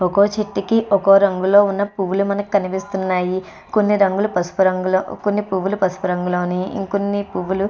ఒక చెట్టుకి ఒక రంగులో ఉన్న పువ్వులు మనకు కనిపిస్తున్నాయి. కొన్ని రంగులు పసుపు రంగులో కొన్ని పువ్వులు పసుపు రంగులోనే ఇంకొన్ని పువ్వులు --